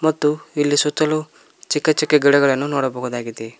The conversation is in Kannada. ಮತ್ತು ಇಲ್ಲಿ ಸುತ್ತಲು ಚಿಕ್ಕ ಚಿಕ್ಕ ಗಿಡಗಳನ್ನು ನೋಡಬಹುದಾಗಿದೆ.